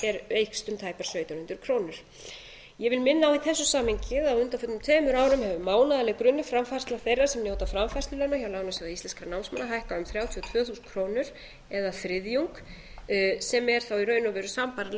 eykst um tæpar sautján hundruð krónur ég vil minna á í þessu samhengi að á undanförnum tveimur árum hefur mánaðarleg grunnframfærsla þeirra sem njóta framfærslulána hjá lánasjóði íslenskra námsmanna hækkað um þrjátíu og tvö þúsund krónur eða þriðjung sem er þá í raun og veru sambærileg